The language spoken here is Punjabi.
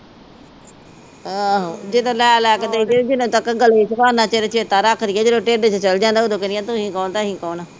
ਆਹੋ, ਜਦੋ ਲੈ ਲੈ ਕੇ ਦੇਈ ਜਾਓ। ਜਿਨਾ ਤੱਕ ਗਲੇ ਆ ਓਨਾ ਚਿਰ ਚੇਤਾ ਰੱਖਦੀਆਂ, ਜਦੋ ਢੇਡ ਚ ਚਲੇ ਜਾਂਦਾ ਓਦੋ ਕਹਿੰਦੀਆਂ ਤੁਸੀਂ ਕੌਣ ਤੇ ਅਸੀਂ ਕੌਣ